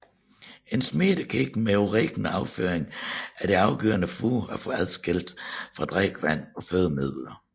En smittekim med urin og afføring er det afgørende at få adskilt fra drikkevand og fødemidler